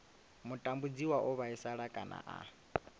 mutambudziwa o vhaisala kana a